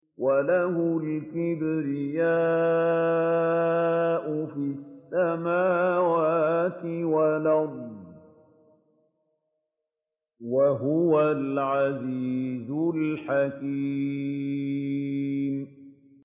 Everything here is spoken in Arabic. وَلَهُ الْكِبْرِيَاءُ فِي السَّمَاوَاتِ وَالْأَرْضِ ۖ وَهُوَ الْعَزِيزُ الْحَكِيمُ